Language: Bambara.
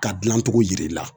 Ka dilancogo jira i la